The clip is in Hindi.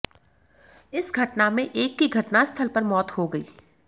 इस घटना में एक की घटनास्थल पर मौत हो गई